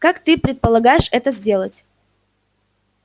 как ты предполагаешь это сделать